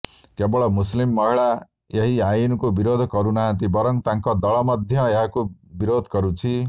କେବଳ ମୁସଲିମ ମହିଳା ଏହି ଆଇନକୁ ବିରୋଧ କରୁନାହାନ୍ତି ବରଂ ତାଙ୍କ ଦଳ ମଧ୍ୟ ଏହାକୁ ବିରୋଧ କରୁଛି